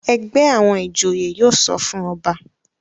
ègbé àwọn ìjòyè yóò sọfún ọba.